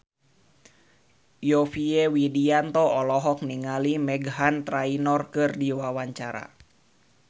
Yovie Widianto olohok ningali Meghan Trainor keur diwawancara